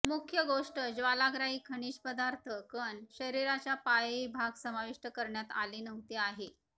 मुख्य गोष्ट ज्वालाग्राही खनिज पदार्थ कण शरीराच्या पायही भाग समाविष्ट करण्यात आले नव्हते आहे